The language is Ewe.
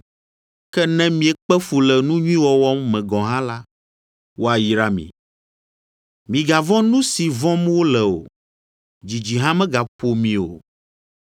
Ke ne miekpe fu le nu nyui wɔwɔ me gɔ̃ hã la, woayra mi. “Migavɔ̃ nu si vɔ̃m wole o; dzidzi hã megaƒo mi o.”